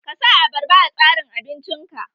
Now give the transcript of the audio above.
Ka sa abarba a tsarin abinci ka!